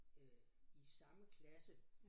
Øh i samme klasse